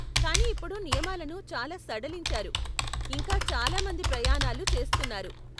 కాని ఇప్పుడు నియమాలను చాలా సడలించారు, ఇంకా చాలా మంది ప్రయాణాలు చేస్తున్నారు.